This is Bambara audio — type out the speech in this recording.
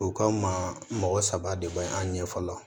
O kama mɔgɔ saba de be an ɲɛ fɔlɔ